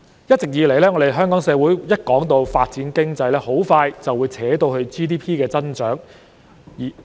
一直以來，香港社會每次談到發展經濟，便會很快扯到 GDP 增長方面。